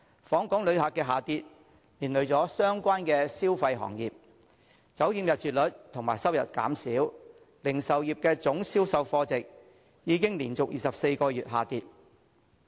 訪港旅客量下跌，連累相關的消費行業，酒店入住率及收入減少，零售業總銷售貨值已經連續24個月下跌。